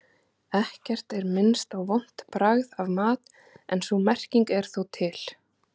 Ekkert er minnst á vont bragð af mat en sú merking er þó til.